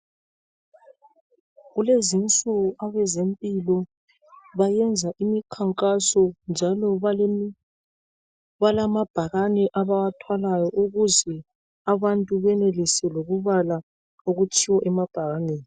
Kulezinsuku abezempilo bayenza imikhankaso njalo balamabhakane abawathwalayo ukuze abantu benelise lokubala okutshiwo emabhakaneni.